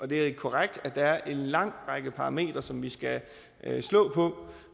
det er korrekt at der er en lang række parametre som vi skal slå på